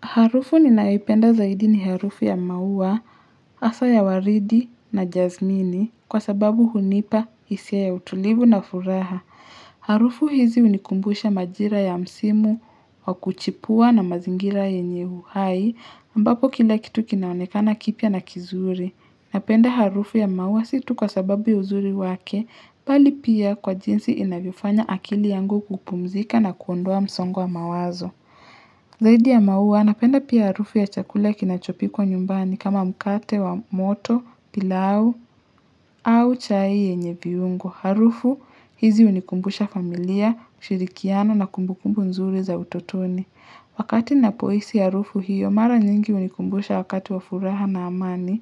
Harufu ninayoipenda zaidi ni harufu ya maua, hasa ya waridi na jazmini kwa sababu hunipa hisia ya utulivu na furaha. Harufu hizi hunikumbusha majira ya msimu wa kuchipua na mazingira yenye uhai mbapo kila kitu kinaonekana kipya na kizuri. Napenda harufu ya maua si tu kwa sababu ya uzuri wake pali pia kwa jinsi inavyifanya akili yangu kupumzika na kuondua msongo wa mawazo. Zaidi ya maua, napenda pia harufu ya chakula kinachopikwa nyumbani kama mkate wa moto, pilau au chai yenye viungo. Harufu, hizi hunikumbusha familia, shirikiano na kumbukumbu nzuri za utotoni. Wakati napohisi harufu hiyo, mara nyingi hunikumbusha wakati wa furaha na amani